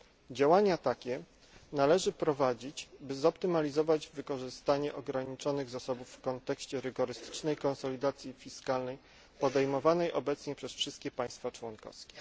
Działania takie należy prowadzić, by zoptymalizować wykorzystanie ograniczonych zasobów w kontekście rygorystycznej konsolidacji fiskalnej, podejmowanej obecnie przez wszystkie państwa członkowskie.